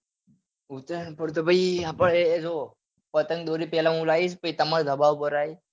ઉતરાયણ પર તો ભાઈ આપડે જોવો પતંગ દોરી પેલા હું લાવીસ પછી તમાર ધાબા પર આયે હા